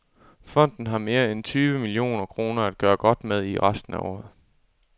Fonden har mere end tyve millioner kroner at gøre godt med i resten af året.